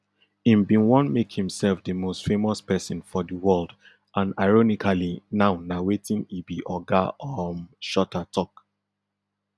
im bin wan make himself di most famous pesin for di world and ironically now na wetin e be oga um shuter tok